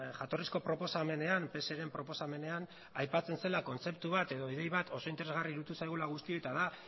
jatorrizko proposamenean pseren proposamenean aipatzen zela kontzeptu bat edo idei bat oso interesgarri iruditu zaigula guztioi eta da